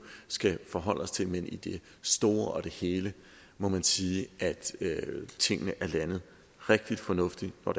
skal forholde os til men i det store og hele må man sige at tingene er landet rigtig fornuftigt og